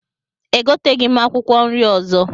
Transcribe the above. Egoteghị m akwụkwọ nri ọzọ